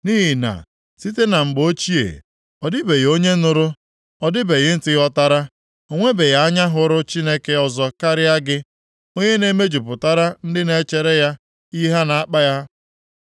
Nʼihi na site na mgbe ochie, ọ dịbeghị onye nụrụ, ọ dịbeghị ntị ghọtara, o nwebeghị anya hụrụ Chineke ọzọ karịa gị, onye na-emejupụtara ndị na-echere ya ihe na-akpa ha.